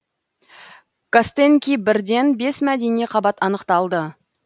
костенки бірден бес мәдени қабат анықталды